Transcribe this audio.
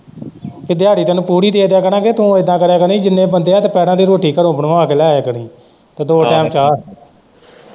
ਕਿ ਦਿਹਾੜੀ ਤੈਨੂੰ ਪੂਰੀ ਦੇ ਦਿਆਂ ਕਰਾਂਗੇ ਤੂੰ ਇੱਦਾ ਕਰਿਆ ਕਰੀ ਜਿੰਨੇ ਬੰਦੇ ਏ ਦੁਪਹਿਰਾ ਦੀ ਰੋਟੀ ਘਰੋਂ ਬਣਵਾ ਕੇ ਲੈ ਆਇਆ ਕਰੀ ਤੇ ਦੋ ਟਾਈਮ ਚਾਹ।